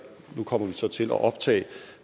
nu kommer vi så til at optage